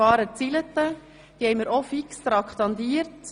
Diese sind für den Dienstag um 16 Uhr fix traktandiert.